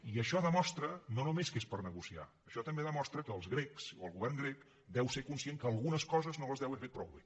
i això demostra no només que és per negociar això també demostra que els grecs o el govern grec deu ser conscient que algunes coses no les deu haver fet prou bé